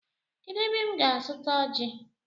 Kedụ ebe m ga azuta ọji?